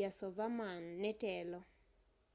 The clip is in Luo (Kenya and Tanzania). yasovarman netelo